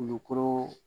Kulukoro